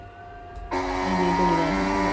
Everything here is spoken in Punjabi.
ਮੁੰਡੇ ਨੂੰ ਲਿਜਾਣ ਗੇ ਆਪੇ।